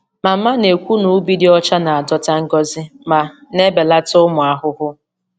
Mama na-ekwu na ubi dị ọcha na-adọta ngọzi ma na-ebelata ụmụ ahụhụ.